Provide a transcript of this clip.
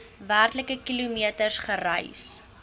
werklike kilometers gereis